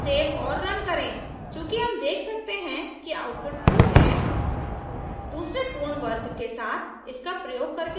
save और run करें चूँकि हम देख सकते हैं कि output true है